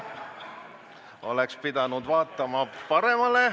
Ma oleksin pidanud vaatama paremale.